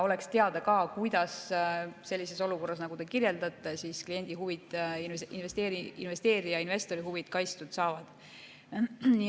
Oleks teada ka, kuidas sellises olukorras, nagu te kirjeldasite, kliendi huvid, investori huvid kaitstud saavad.